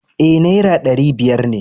E, Naira ɗari biyar ne.